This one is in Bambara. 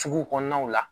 Sugu kɔnɔnaw la